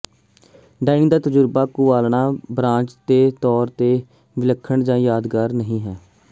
dining ਦਾ ਤਜਰਬਾ ਕੁਆਲਣਾ ਬਰਾਂਚ ਦੇ ਤੌਰ ਤੇ ਵਿਲੱਖਣ ਜਾਂ ਯਾਦਗਾਰ ਨਹੀਂ ਹੈ